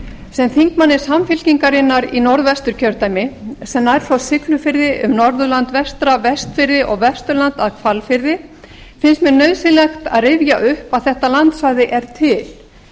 sem þingmanni sem í norðvesturkjördæmi sem nær frá siglufirði um norðurland vestra og vestfirði og vesturland að hvalfirði finnst mér nauðsynlegt að rifja upp að þetta landsvæði er til